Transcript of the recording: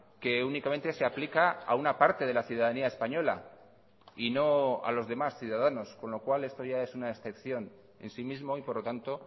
que únicamente se aplica a una parte de la ciudadanía española y no a los demás ciudadanos con lo cual esto ya es una excepción en sí mismo y por lo tanto